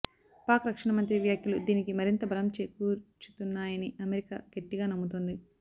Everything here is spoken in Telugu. పాక్ రక్షణ మంత్రి వ్యాఖ్యలు దీనికి మరింత బలం చేకూర్చుతున్నాయని అమెరికా గట్టిగా నమ్ముతోంది